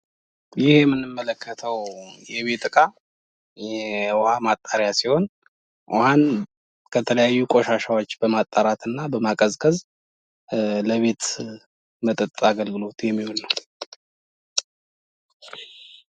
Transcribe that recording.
ይህ የምንመለከተው የቤት ዕቃ የውሃ ማጣሪያ ሲሆን ውሃን ከተለያዩ ነገሮች በማጣራትና በማቀዝቀዝለቤት መጠጥ አገልግሎት የሚውል ነው።